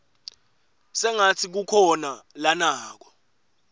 sengatsi kukhona lanako